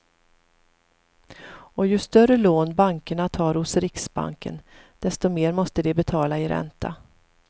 Och ju större lån bankerna tar hos riksbanken desto mer måste de betala i ränta.